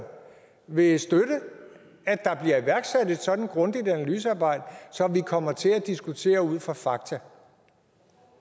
vil støtte at der bliver iværksat et sådant grundigt analysearbejde så vi kommer til at diskutere ud fra fakta